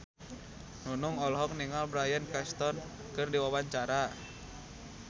Nunung olohok ningali Bryan Cranston keur diwawancara